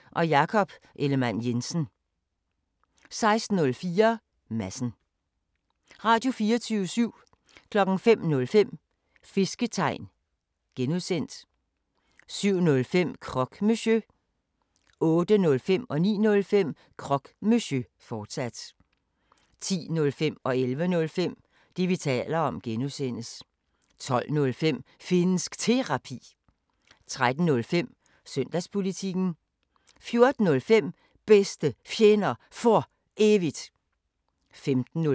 16:05: Stenos Apotek – sammendrag 17:05: Meet The Selsings – sammendrag 18:05: Kampagnesporet: Værter: David Trads og Mads Fuglede 19:05: Din Kamp 20:05: Kina Snak – highlights 21:05: Pakzads Polemik 22:05: 24syv Dokumentar (G) 23:05: RomerRiget (G) 00:00: 24syv Nyheder (søn-fre) 04:05: Nattevagten Highlights